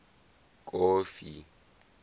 kofi